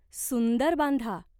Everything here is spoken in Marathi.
सुंदर बांधा.